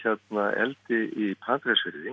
eldi í Patreksfirði